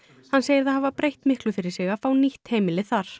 hann segir það hafa breytt miklu fyrir sig að fá nýtt heimili þar